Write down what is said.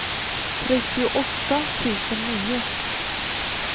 trettioåtta tusen nio